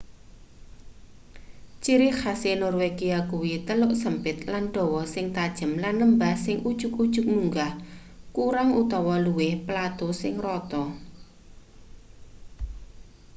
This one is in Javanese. ciri khase norwegia kuwi teluk sempit lan dawa sing tajem lan lembah sing ujug-ujug munggah kurang utawa luwih plato sing rata